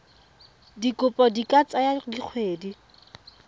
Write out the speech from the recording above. dikopo di ka tsaya dikgwedi